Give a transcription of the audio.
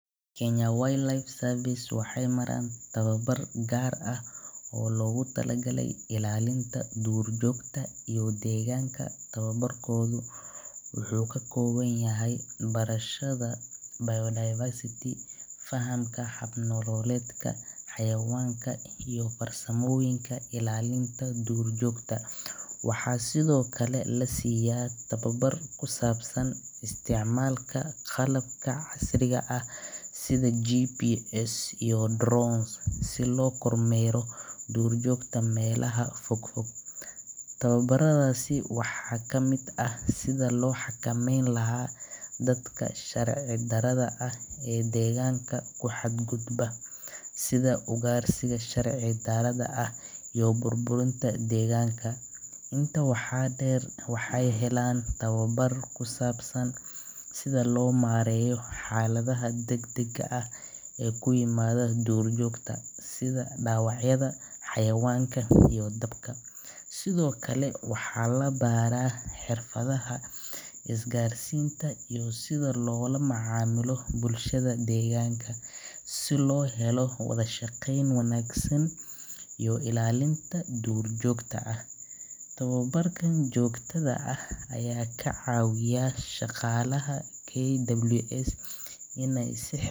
Waxeey maraan tababar gaar ah, wuxuu kak ooban yahay fahamka hab nololeedka xawayanada, waxaa lasiiya isticmaal qalab casri ah, si loo kor meero, waxaa kamid ah sida loo xakameeyo dadka sharci darada, waxeey helaan tababara kusaabsan sida loo mareeyo xalada adgag ah, sida loola macamilo bulshada deeganka, tababrkan ayaa kacawiya shaqalaha in aay si xirfadeesan.